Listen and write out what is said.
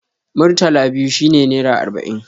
Murtala biyu shi ne nera arba'in.